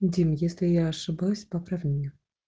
дима если я ошибалась поправь меня